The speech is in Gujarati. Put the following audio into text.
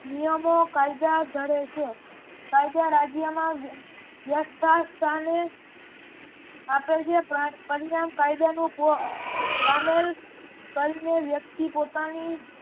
નિયમો કાયદા ધરે છે. કાયદા રાજ્ય માં વયસ્થાને આપેલ છે પરિણામ કાયદાનુ સામેલ કરીને વ્યક્તિ પોતાની